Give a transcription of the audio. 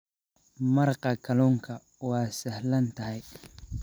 Maraqa kalluunka waa sahlan tahay.